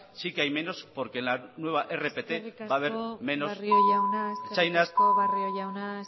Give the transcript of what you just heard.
sí que hay menos porque en la nueva rpt va a haber menos eskerrik asko barrio jauna